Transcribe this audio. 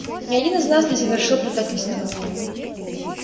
ни один из нас не совершил предательства